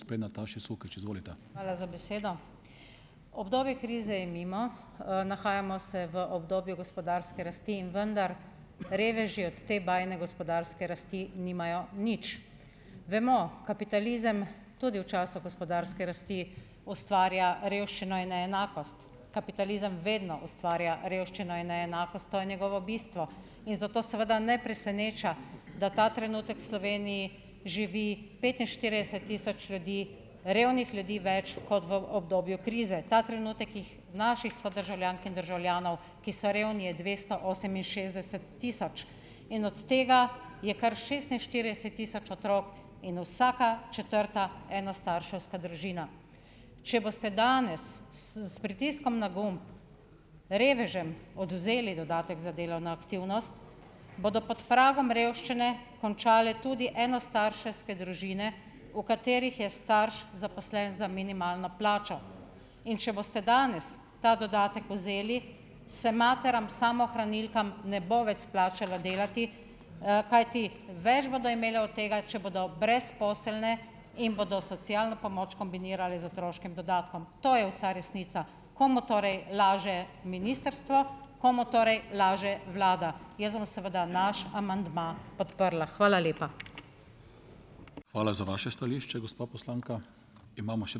Hvala za besedo. Obdobje krize je mimo, nahajamo se v obdobju gospodarske rasti in vendar reveži od te bajne gospodarske rasti nimajo nič. Vemo, kapitalizem tudi v času gospodarske rasti ustvarja revščino in neenakost. Kapitalizem vedno ustvarja revščino in neenakost, to je njegovo bistvo. In zato seveda ne preseneča, da ta trenutek v Sloveniji živi petinštirideset tisoč ljudi, revnih ljudi več, kot v obdobju krize. Ta trenutek jih, naših sodržavljank in državljanov, ki so revni, je dvesto oseminšestdeset tisoč. In od tega je kar šestinštirideset tisoč otrok in vsaka četrta enostarševska družina. Če boste danes, s pritiskom na gumb revežem odvzeli dodatek za delovno aktivnost, bodo pod pragom revščine končale tudi enostarševske družine, v katerih je starš zaposlen za minimalno plačo. In če boste danes ta dodatek vzeli, se materam samohranilkam ne bo več splačalo delati, kajti več bodo imele od tega, če bodo brezposelne in bodo socialno pomoč kombinirale z otroškim dodatkom, to je vsa resnica. Komu torej laže ministrstvo, komu torej laže vlada? Jaz bom seveda naš amandma podprla. Hvala lepa.